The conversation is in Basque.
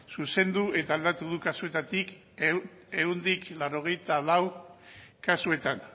zuzendu eta aldatu du kasuetatik ehuneko laurogeita lau kasuetan